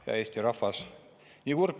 Ja hea Eesti rahvas!